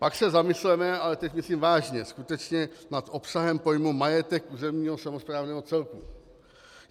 Pak se zamysleme, ale teď myslím vážně, skutečně nad obsahem pojmu majetek územního samosprávného celku.